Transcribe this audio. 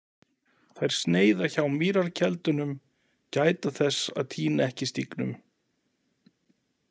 Þær sneiða hjá mýrarkeldunum, gæta þess að týna ekki stígnum.